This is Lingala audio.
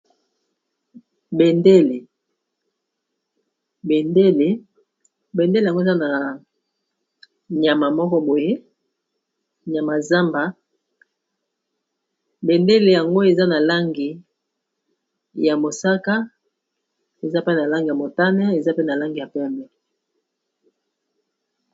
bendele yango eza na nyama moko boye nyamazamba bendele yango eza na langi ya mosaka eza pe na langi ya motane eza pe na langi ya peme